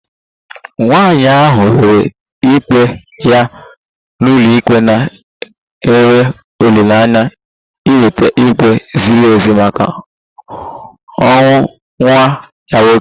Nwanyị ahụ weere ikpe ya n'ụlọikpe na-enwe olileanya inweta ikpe ziri ezi maka ọnwụ nwa ya nwoke